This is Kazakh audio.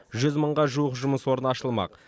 жүз мыңға жуық жұмыс орны ашылмақ